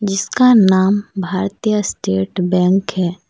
जिसका नाम Bharatiya State Bank है।